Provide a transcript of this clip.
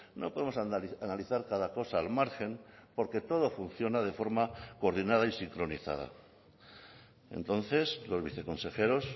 no podemos analizar cada cosa al margen porque todo funciona de forma coordinada y sincronizada entonces los viceconsejeros